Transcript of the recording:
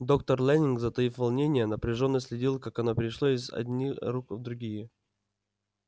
доктор лэннинг затаив волнение напряжённо следил как оно перешло из одни руки в другие